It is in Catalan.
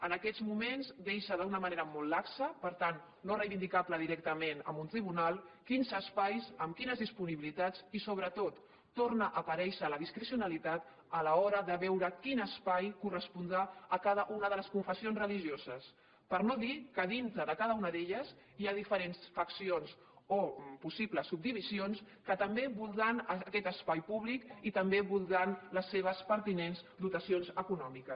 en aquests moments deixa d’una manera molt laxa per tant no reivindicable directament en un tribunal quins espais amb quines disponibilitats i sobretot torna a aparèixer la discrecionalitat a l’hora de veure quin espai correspondrà a cada una de les confessions religioses per no dir que dintre de cada una d’elles hi ha diferents faccions o possibles subdivisions que també voldran aquest espai públic i també voldran les seves pertinents dotacions econòmiques